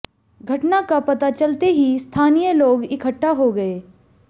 घटना का पता चलते ही स्थानीय लोग इकट्ठा हो गए